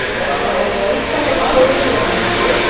இந்த இங்க ஒரு ஒயிட் கலர் டேபிள் ஒன்னு இருக்கு.